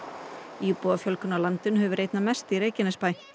íbúafjölgun á landinu hefur verið einna mest í Reykjanesbæ